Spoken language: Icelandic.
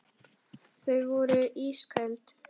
Þau voru ísköld.